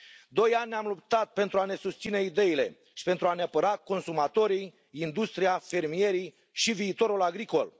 Doi ani am luptat pentru a ne susține ideile și pentru a ne apăra consumatorii, industria, fermierii și viitorul agricol.